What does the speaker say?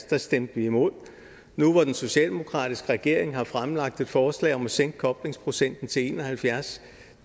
der stemte vi imod nu hvor den socialdemokratiske regering har fremlagt et forslag om at sænke koblingsprocenten til en og halvfjerds